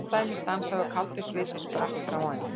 Hjartað í mér stansaði og kaldur sviti spratt fram á ennið.